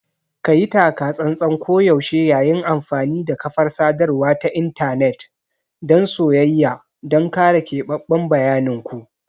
Kayi taka-tsantsan koyaushe yayin amfani da kafar sadarwa ta intanet dan soyayya don kare keɓaɓɓen bayanin ku.